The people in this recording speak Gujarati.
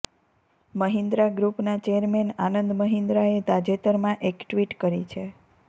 મહિન્દ્રા ગ્રુપનાં ચેરમેન આનંદ મહિન્દ્રાએ તાજેતરમાં એક ટ્વીટ કરી છે